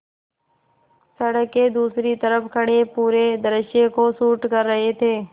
सड़क के दूसरी तरफ़ खड़े पूरे दृश्य को शूट कर रहे थे